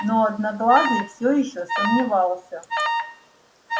но одноглазый все ещё сомневался